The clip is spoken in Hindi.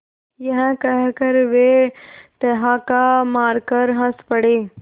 यह कहकर वे ठहाका मारकर हँस पड़े